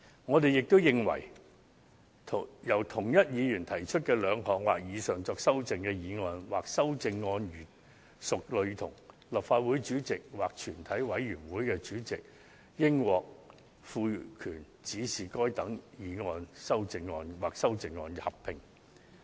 我們亦認為，由同一議員提出的兩項或以上用作修正的議案或修正案如屬類同，立法會主席或全體委員會主席應獲賦權指示就該等議案或修正案進行合併辯論及表決。